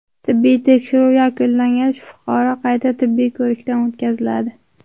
Tibbiy tekshiruv yakunlangach, fuqaro qayta tibbiy ko‘rikdan o‘tkaziladi.